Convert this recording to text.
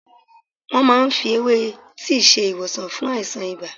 Wọ́́n máa ń fi ewé tíì ṣe ìwòsàn fún àìsàn ibà.